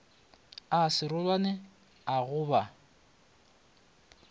a serolwane a go ba